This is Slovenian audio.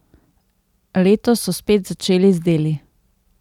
Letos so spet začeli z deli.